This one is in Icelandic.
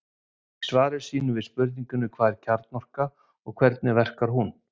í svari sínu við spurningunni hvað er kjarnorka og hvernig verkar hún